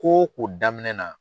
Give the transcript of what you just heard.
Ko o ko daminɛ na